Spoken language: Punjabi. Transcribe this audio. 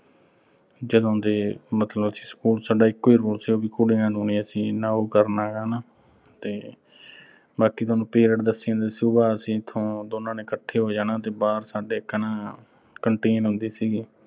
ਜਦੋਂ ਦੇ ਅਸੀਂ school ਚ। ਸਾਡਾ ਇਕੋ ਹੀ rule ਸੀਗਾ ਵੀ ਕੁੜੀਆਂ ਨੂੰ ਨੀਂ ਅਸੀਂ ਐਨਾ ਉਹੋ ਕਰਨਾ ਗਾ ਹਨਾ ਅਹ ਤੇ ਬਾਕੀ ਸੋਨੂੰ periods ਦੱਸੀ ਜਾਂਦਾ ਸੀ। ਸੁਬਾਹ ਅਸੀਂ ਇਥੋਂ ਦੋਨਾਂ ਨੇ ਇਕੱਠੇ ਹੋ ਜਾਣਾ ਤੇ ਬਾਹਰ ਸਾਡੇ ਇੱਕ ਨਾ ਅਹ canteen ਹੁੰਦੀ ਸੀਗੀ।